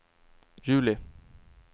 juli